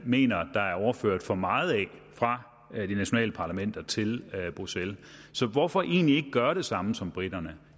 mener der er overført for meget af fra de nationale parlamenter til bruxelles så hvorfor egentlig ikke gøre det samme som briterne